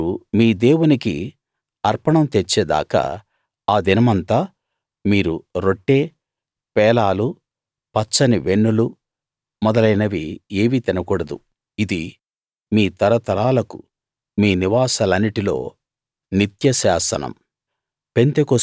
మీరు మీ దేవునికి అర్పణం తెచ్చేదాకా ఆ దినమంతా మీరు రొట్టె పేలాలు పచ్చని వెన్నులు మొదలైనవి ఏమీ తినకూడదు ఇది మీ తరతరాలకు మీ నివాసాలన్నిటిలో నిత్య శాసనం